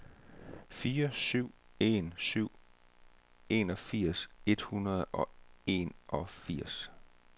fire syv en syv enogfirs et hundrede og enogfirs